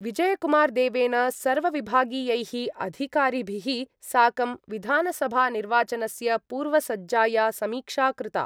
विजयकुमारदेवेन सर्वविभागीयैः अधिकारिभिः साकं विधानसभानिर्वाचनस्य पूर्वसज्जाया समीक्षा कृता।